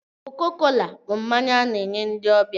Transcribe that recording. Koko kola bụ mmanya a na-enye ndị ọbịa